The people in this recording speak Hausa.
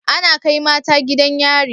Ana Kai mata gidan yari